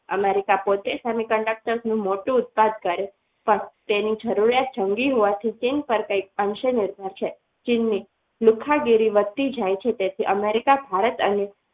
America પોતે semiconductor નું મોટું ઉત્પાદન કરે છે પણ તેની જરૂરિયાત જંગી હોવાથી ચીન પર કંઈક અંશે નિર્ભર છે ચીનની લુખ્ખાગીરી વધતી જાય છે તેથી America ભારત અને